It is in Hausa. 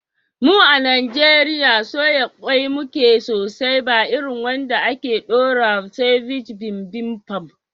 Mu a Najeriya, soya ƙwai muke sosai, ba irin wanda ake ɗorawa "ceviche bibimbap".